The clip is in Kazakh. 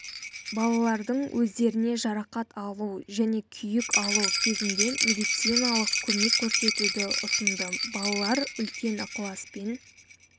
балалардың өздеріне жарақат алу және күйік алу кезінде медициналық көмек көрсетуді ұсынды балалар үлкен ықыласпен